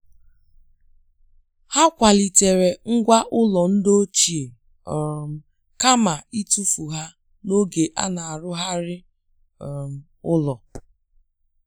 Ha kwalitere ngwá ụlọ ndị ochie um kama ịtụfu ha n'oge a na-arụzigharị um ụlọ.